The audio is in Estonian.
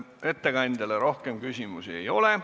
Ettekandjale rohkem küsimusi ei ole.